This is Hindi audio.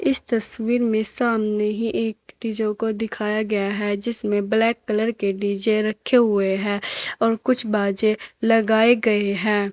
इस तस्वीर में सामने ही एक डीजों को दिखाया गया है जिसमें ब्लैक कलर के डी_जे रखे हुए हैं और कुछ बाजे लगाए गए हैं।